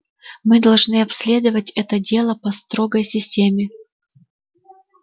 мы должны обследовать это дело по строгой системе